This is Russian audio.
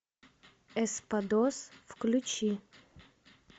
эспадос включи